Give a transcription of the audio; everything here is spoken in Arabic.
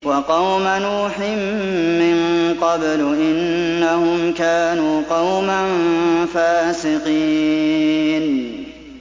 وَقَوْمَ نُوحٍ مِّن قَبْلُ ۖ إِنَّهُمْ كَانُوا قَوْمًا فَاسِقِينَ